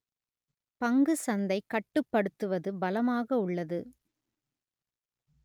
பங்கு சந்தை கட்டுப்படுத்துவது பலமாக உள்ளது